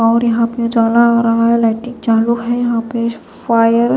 और यहां पे उजाला हो रहा है लाइटिंग चालू है यहां पे फायर --